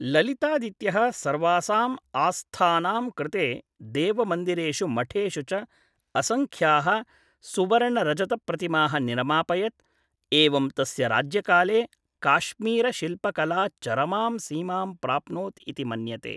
ललितादित्यः सर्वासाम् आस्थानां कृते देवमन्दिरेषु मठेषु च असंख्याः सुवर्ण रजत प्रतिमाः निरमापयत्, एवं तस्य राज्यकाले काश्मीर शिल्पकला चरमां सीमां प्राप्नोत् इति मन्यते।